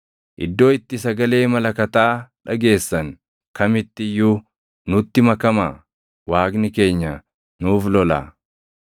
Iddoo itti sagalee malakataa dhageessan kamitti iyyuu nutti makamaa. Waaqni keenya nuuf lolaa!”